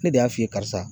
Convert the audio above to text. Ne de y'a f'i ye karisa